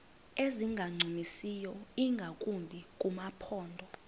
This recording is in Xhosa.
ezingancumisiyo ingakumbi kumaphondo